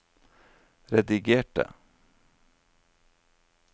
redigerte